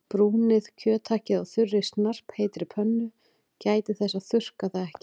Brúnið kjöthakkið á þurri snarpheitri pönnu- gætið þess að þurrka það ekki.